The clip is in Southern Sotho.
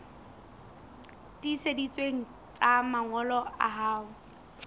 tiiseditsweng tsa mangolo a hao